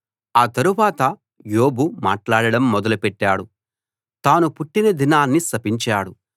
ఆ తరువాత యోబు మాట్లాడడం మొదలుపెట్టాడు తాను పుట్టిన దినాన్ని శపించాడు